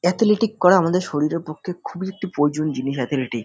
Athletic করা আমাদের শরীরের পক্ষে খুবই একটি প্রয়োজনীয় জিনিস এথেলেটিক ।